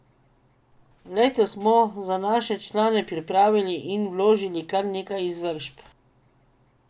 Letos smo za naše člane pripravili in vložili kar nekaj izvršb.